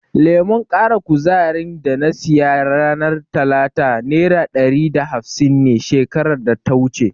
Lemon ƙara kuzarin da na siya ranar talata nera ɗari da hafsin ne shekarar data wuce.